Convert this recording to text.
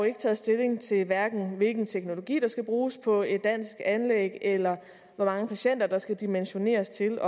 ikke taget stilling til hvilken teknologi der skal bruges på et dansk anlæg eller hvor mange patienter der skal dimensioneres til